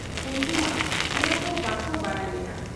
ᱩᱱᱠᱩ ᱢᱟ ᱚᱱᱟᱠᱚ ᱵᱟᱠᱚ ᱵᱟᱰᱟᱭ ᱞᱮᱜ ᱟ ᱾